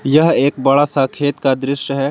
यह एक बड़ा सा खेत का दृश्य है।